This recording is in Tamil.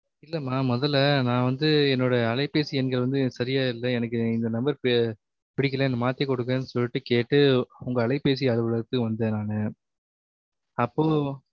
இல்லமா முதல நா வந்து என் அலைபேசி எண்கல் வந்து சரியாய் இல்ல எனக்கு இந்த NUMBER எண் பி ~ பிடிக்கல மாத்தி குடுங்க சொல்லிட்டு கேட்டு உங்க அலைபேசி அலுவலகலத்துக்கு வந்தான் நானு அப்போ